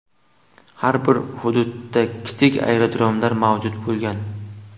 Har bir hududda kichik aerodromlar mavjud bo‘lgan.